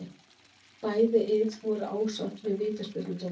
Bæði ið voru ósátt með vítaspyrnudómana.